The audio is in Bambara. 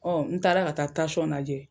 n taara ka tasɔn najɛ